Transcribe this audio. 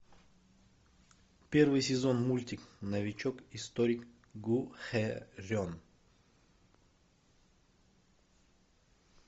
первый сезон мультик новичок историк гу хэ рен